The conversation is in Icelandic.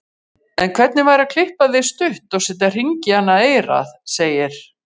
En hvernig væri að klippa þig stutt og setja hring í annað eyrað, segir